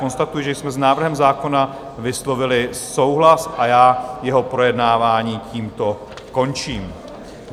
Konstatuji, že jsme s návrhem zákona vyslovili souhlas, a já jeho projednávání tímto končím.